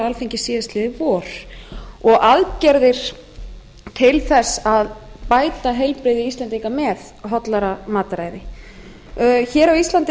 alþingi síðastliðið vor og aðgerðir til þess að bæta heilbrigði íslendinga með hollara mataræði hér á íslandi